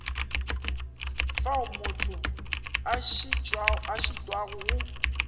fao motho a šitwago go